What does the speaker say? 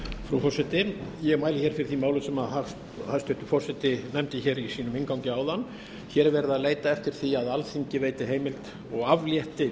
frú forseti ég mæli fyrir því máli sem hæstvirtur forseti nefndi í sínum inngangi áðan hér er verið að leita eftir því að alþingi veiti heimild og aflétti